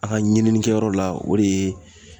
A ka ɲininikɛyɔrɔ la o de ye